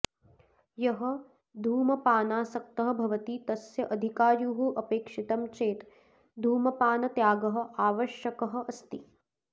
यः धूमपानासक्तः भवति तस्य अधिकायुः अपेक्षितं चेत् धूमपानत्यागः आवश्यकः अस्ति